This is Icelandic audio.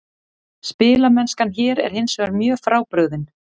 Spilamennskan hér er hinsvegar mjög frábrugðin.